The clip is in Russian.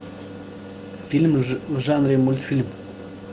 фильм в жанре мультфильм